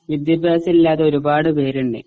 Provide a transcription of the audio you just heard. വിദ്യാഭ്യാസം ഇല്ലാതെ ഒരുപാട് പേരുണ്ട്